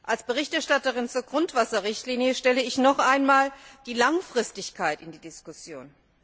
Als Berichterstatterin zur Grundwasserrichtlinie stelle ich noch einmal die Langfristigkeit in die Diskussion.